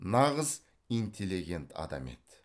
нағыз интелегент адам еді